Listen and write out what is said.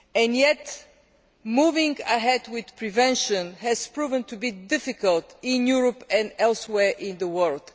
Yet, moving ahead with prevention has proven to be difficult in Europe and elsewhere in the world.